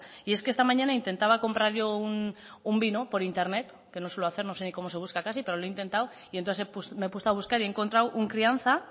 esta mañana intentaba comprar yo un vino por internet que no suelo hacer no sé ni cómo se busca casi pero lo he intentado y entonces me he puesto a buscar y he encontrado un crianza